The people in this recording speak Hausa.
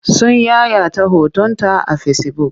Sun yayata hotonta a fesibuk.